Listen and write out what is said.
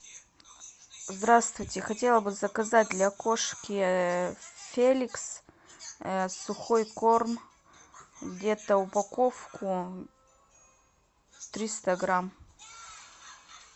здравствуйте хотела бы заказать для кошки феликс сухой корм где то упаковку триста грамм